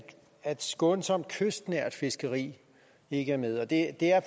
skånsomt kystnært fiskeri ikke er med og det er